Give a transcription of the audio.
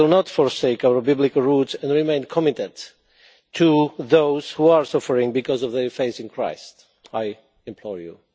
We will not forsake our biblical roots, and we remain committed to those who are suffering because of their faith in Christ. I implore you.